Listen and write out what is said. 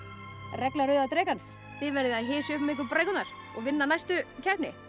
regla rauða drekans þið verðið að hysja upp um ykkur brækurnar og vinna næstu keppni